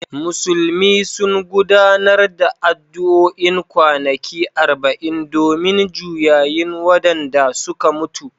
Musulmi sun gudanar da addu’o’in kwanaki arba’in domin juyayin wadanda suka mutu